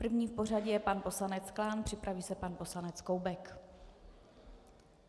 První v pořadí je pan poslanec Klán, připraví se pan poslanec Koubek.